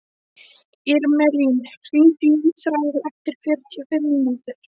Irmelín, hringdu í Ísrael eftir fjörutíu og fimm mínútur.